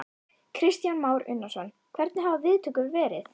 Kristján Már Unnarsson: Hvernig hafa viðtökur verið?